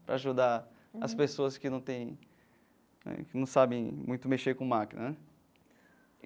Para ajudar as pessoas que não tem né que não sabem muito mexer com máquina né.